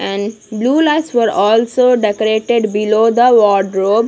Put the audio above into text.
and blue lines for also decorated below the wardrobe.